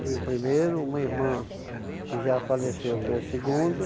Fui o primeiro, uma irmã que já faleceu, foi a segunda.